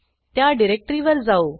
त्या डिरेक्टरीवर जाऊ